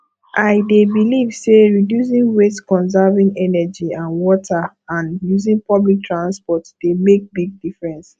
i dey believe say reducing waste conserving energy and water and using public transport dey make big difference